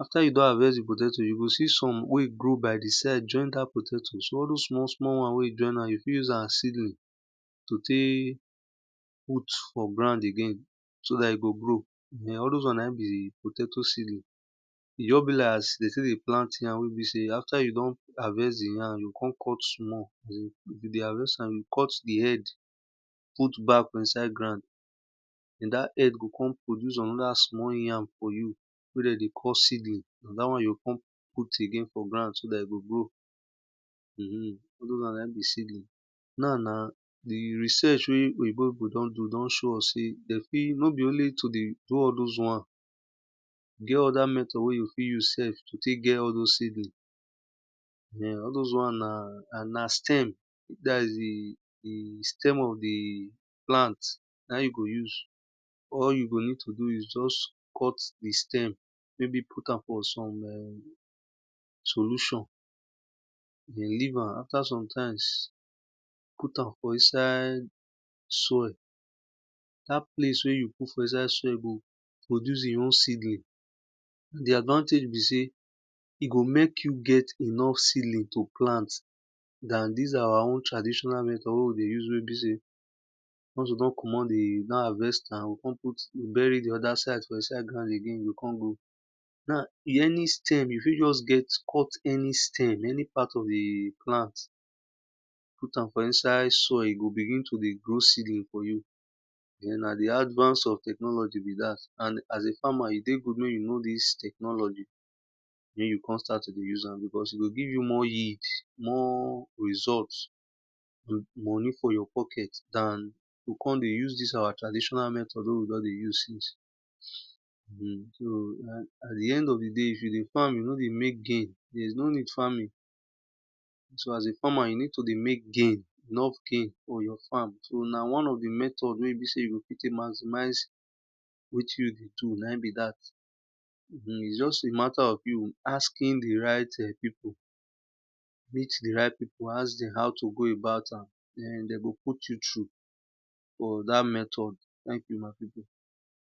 Afta you don harvest di potato, you go see some wen e grow by di sie jopin dat potato so all those won wen e join you fit use am as seedling to tek put for ground again so dat e go grow so all those wn na in be potaoto seedling. E just be like de stil dey plant yam again after you don harvest di yam, you kon cut small you dey harvest am you cut di head put back for inside ground den dat head go kon produce anoda small yam for you wey de deycall seedling na dat won you kon put again for ground. Na now di research wey pipu don do all those wan e get other method to fit doto get ll those seedling all those wan na stem dat is di stem of di plant na in you go use or you go need to use just cut di stem maybe put am for soil solution, you go leave am after sometimes, put am for inside soil, dat place wen you put for inside soil go produce e own seedling, di advantage be sey e go mek you get enough ht seedling to plant dan dis awa our traditional method wey be sey ones we don commot di don harvest am kon put bury di other side again, di early stage we fit just cut any stem any part of di plant, put am for inside sol, e go begin toned grow seedling for yiou na di advance of technology be dat and as a farmer e dey good mek you know dis technology mek you kon startto dey use am because e go gie you more yield moni for your pocket dan we kon dey use dis our traditional mthod wey we kon dey use sice. So at di end of di day if you dey farm you no deymek gain, there is no need farming so as a farmer you need to dey mek gain so na one of di method wey you o tek maximize wetin you dey do na in be dat. Its just a matta of you asking di right pipu, meet di right pipu ask dem how to go abou am den de go put you through for dat method wey una fit do.